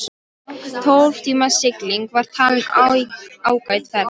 Tólf tíma sigling var talin ágæt ferð.